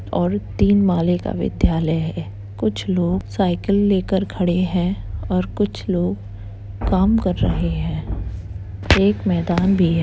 और तीन माले का विद्यालय है | कुछ लोग साइकिल लेकर खड़े हैं और कुछ लोग काम कर रहे हैं | एक मैदान भी है।